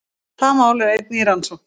Það mál er einnig í rannsókn